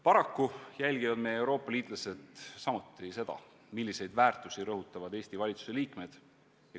Paraku jälgivad meie Euroopa liitlased samuti seda, milliseid väärtusi rõhutavad Eesti valitsuse liikmed.